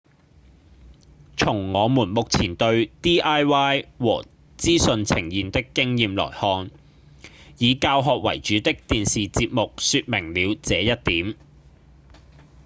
從我們目前對 diy 和資訊呈現的經驗來看以教學為主的電視節目說明了這一點